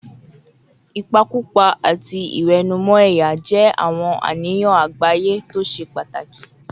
Ìpakúpa àti ìwẹ̀nùmọ́ ẹ̀yà jẹ́ àwọn àníyàn àgbáyé tó ṣe pàtàkì